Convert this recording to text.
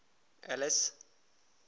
alice